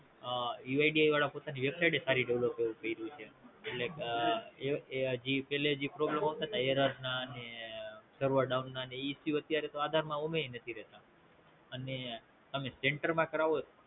UID વાળા પોતાની website એ સારી બોવ કયરી છે એટલે એ હાજી પણ જે problem અવતાતા error ના ને Server down ના એ તો આધાર માં એમ એય નથી રેતા અને તમે Center માં કરાવો